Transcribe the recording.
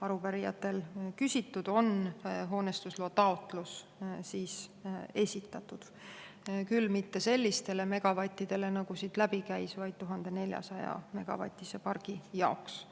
arupärijad küsisid, on hoonestusloa taotlus esitatud, küll mitte sellistele megavattidele, nagu siit läbi käis, vaid 1400‑megavatise pargi jaoks.